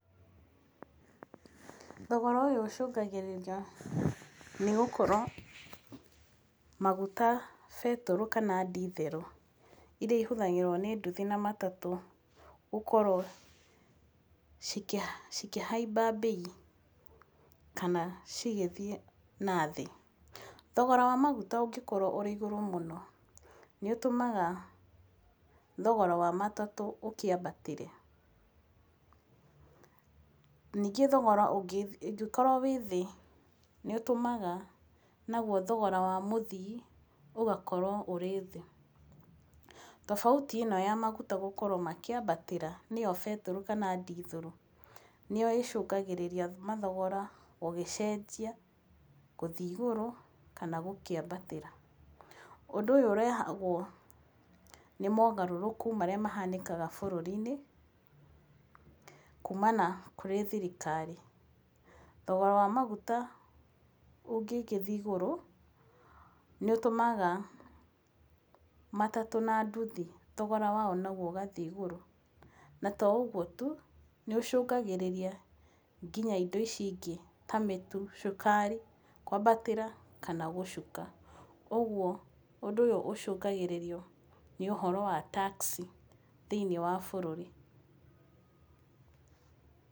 Thogora ũyũ ũcũngagĩrĩria nĩ gũkorwo maguta, betũrũ kana ndithũrũ, iria ihũthagĩrwo nĩ nduthi na matatũ, gũkorwo cikĩhaimba mbei, kana cigĩthiĩ nathĩ. Thogora wa maguta ũngĩkorwo ũrĩ igũrũ mũno, nĩũtũmaga thogora wa matatũ ũkĩambatĩre. Ningĩ thogora ũngĩkorwo wĩ thĩ, nĩ ũtũmaga naguo thogora wa mũthii, ũgakorwo wĩthĩ. Tobauti ĩno ya maguta gũkorwo ĩkĩambatĩra, nĩyo betũrũ kana ndithũrũ, nĩyo ĩcũngagĩrĩria thogora gũgĩcenjia, gũthiĩ igũrũ, kana gũkĩambatĩra. Ũndũ ũyũ ũrehagwo nĩ mogarũrũku marĩa mahanĩkaga bũrũri-inĩ, kuumana kũrĩ thirikari. Thogora wa maguta ũngĩgĩthiĩ igũrũ, nĩ ũtũmaga, matatũ na ndithi thogora wao ũgathiĩ igũrũ. Na toũguo tu, nĩ ũcũngagĩrĩria nginya indo ici ingĩ, ta mĩtu, cukari, kwambatĩra kana gũcuka. Ũguo ũndũ ũyũ ũcũngagĩrĩrio nĩ ũndũ wa tax, thĩinĩ wa bũrũri.